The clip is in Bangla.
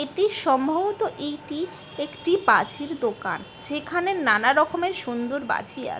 এটি সম্ভবত এইটি একটি বাজির দোকান। যেখানে নানা রকমের সুন্দর বাজি আ--